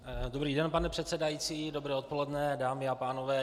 Dobrý den, pane předsedající, dobré odpoledne, dámy a pánové.